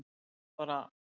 Ég var bara.